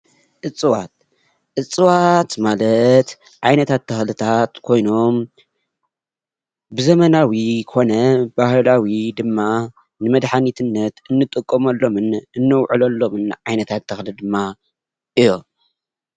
እፅዋት እፅዋት ማለት ዓይነታት ተክሊታት ኮይኖም ብዘመናዊ ኮነ ብባህላዊ ድማ ንመድሓኒት እንጥቀመሎምን እነውዕሎሎምን ዓይነታት ተክሊ ድማ እዮም።